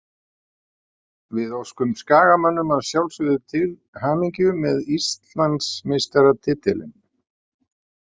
Við óskum Skagamönnum að sjálfsögðu til hamingju með Íslandsmeistaratitilinn.